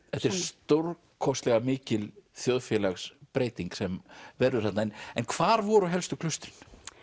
þetta er stórkostlega mikil þjóðfélagsbreyting sem verður þarna en hvar voru helstu klaustrin